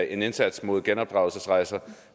en indsats mod genopdragelsesrejser